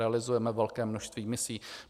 Realizujeme velké množství misí.